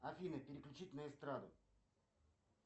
афина переключить на эстраду